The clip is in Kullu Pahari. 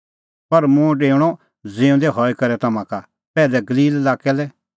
पर मुंह डेऊणअ ज़िऊंदै हई करै तम्हां का पैहलै गलील लाक्कै लै